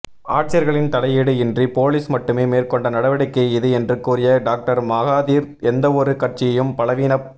ஆட்சியாளர்களின் தலையீடு இன்றி போலிஸ் மட்டுமே மேற்கொண்ட நடவடிக்கை இது என்று கூறிய டாக்டர் மகாதீர் எந்தவொரு கட்சியையும் பலவீனப்